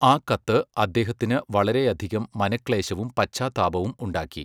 ആ കത്ത് അദ്ദേഹത്തിന് വളരെയധികം മനക്ലേശവും പശ്ചാത്താപവും ഉണ്ടാക്കി.